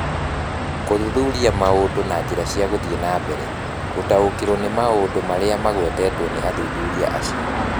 Kũthuthuria Maũndũ na Njĩra ya Gũthiĩ na Mbere gũtaũkĩrũo nĩ maũndũ marĩa magwetetwo nĩ athuthuria acio.